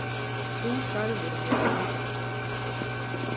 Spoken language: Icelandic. Þú sagðir mér að hann.